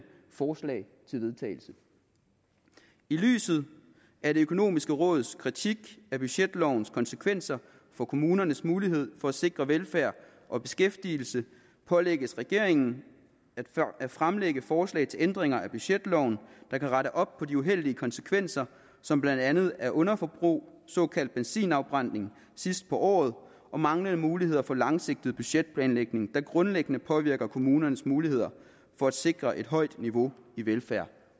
forslag til vedtagelse i lyset af det økonomiske råds kritik af budgetlovens konsekvenser for kommunernes mulighed for at sikre velfærd og beskæftigelse pålægges regeringen at fremlægge forslag til ændringer af budgetloven der kan rette op på de uheldige konsekvenser som blandt andet er underforbrug såkaldt benzinafbrænding sidst på året og manglende muligheder for langsigtet budgetplanlægning der grundlæggende påvirker kommunernes muligheder for at sikre et højt niveau i velfærd